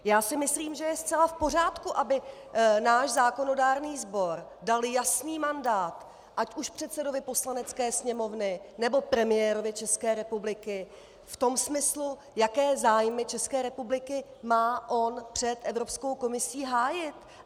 Já si myslím, že je zcela v pořádku, aby náš zákonodárný sbor dal jasný mandát ať už předsedovi Poslanecké sněmovny, nebo premiérovi České republiky v tom smyslu, jaké zájmy České republiky má on před Evropskou komisí hájit.